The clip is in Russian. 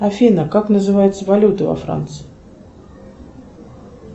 афина как называется валюта во франции